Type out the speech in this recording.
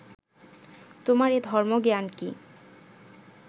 তোমার এ ধর্মজ্ঞান কি